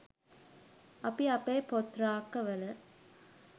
අපි අපේ පොත් රාක්ක වල